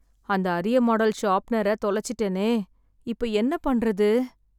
அந்த அரிய மாடல் ஷார்ப்பெனரத் தொலைச்சிட்டேனே! இப்போ என்ன பண்ணுறது!